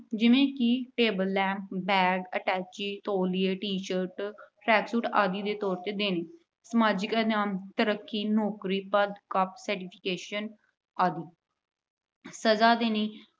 ਜਿਵੇਂ ਕਿ table, lamp, bag, attached ਤੌਲੀਏ, t-shirt, track suit ਆਦਿ ਦੇ ਤੌਰ ਤੇ ਦੇਣੀ। ਸਮਾਜਿਕ ਇਨਾਮ- ਤਰੱਕੀ, ਨੌਕਰੀ, ਪੱਦ, ਆਦਿ। ਸਜਾ ਦੇਣੀ